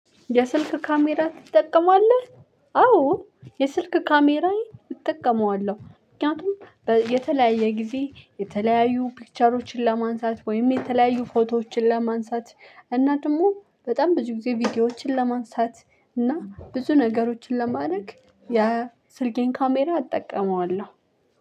የስልክ ካሜራ ትጠቀማለህ? አዎ የስልክ ካሜራዬን እጠቀመዋለሁ። ምክንያቱም በየተለያየ ጊዜ የተለያዩ ፒክቸሮችን ለማንሳት ወይም የተለያዩ ፎቶዎችን ለማንሳት እና ደግሞ በጣም ብዙ ጊዜ ቪዲዮዎችን ለማንሳት- እና ብዙ ነገሮችን ለማድረግ ያ ስልኬን ካሜራ አጠቀመዋለሁ።